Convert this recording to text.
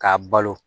K'a balo